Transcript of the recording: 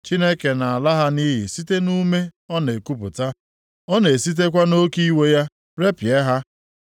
Chineke na-ala ha nʼiyi site nʼume ọ na-ekupụta. Ọ na-esitekwa nʼoke iwe ya repịa ha.